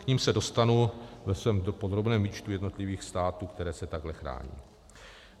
K nim se dostanu ve svém podrobném výčtu jednotlivých států, které se takhle chrání.